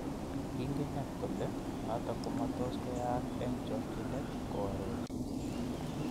Kingine kole noto komatos koyayak eng chogchinet", koarori.